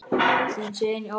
Þinn, Sveinn Óli.